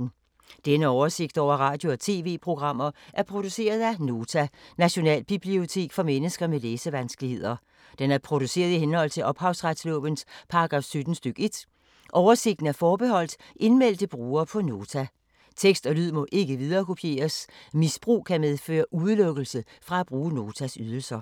Denne oversigt over radio og TV-programmer er produceret af Nota, Nationalbibliotek for mennesker med læsevanskeligheder. Den er produceret i henhold til ophavsretslovens paragraf 17 stk. 1. Oversigten er forbeholdt indmeldte brugere på Nota. Tekst og lyd må ikke viderekopieres. Misbrug kan medføre udelukkelse fra at bruge Notas ydelser.